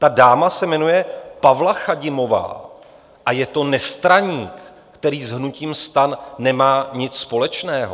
Ta dáma se jmenuje Pavla Chadimová a je to nestraník, který s hnutím STAN nemá nic společného.